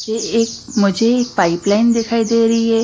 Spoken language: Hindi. ये एक मुझे एक पाइपलाइन दिखाई दे रही है।